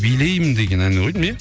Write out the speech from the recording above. билеймін деген әні ғой деймін иә